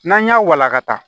N'an y'a walakata